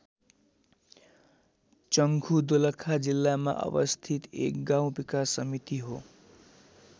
चंखु दोलखा जिल्लामा अवस्थित एक गाउँ विकास समिति हो।